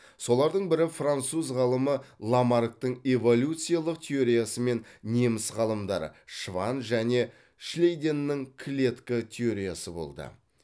солардың бірі француз ғалымы ламарктың эволюциялық теориясы мен неміс ғалымдары шванн және шлейденнің клетка теориясы болды